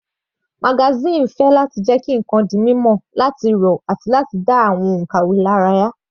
Magazine ń fẹ́ láti jẹ́ kí ǹkan di mímọ̀, láti rọ̀ àti láti dá ara àwọn onkàwe lára yá.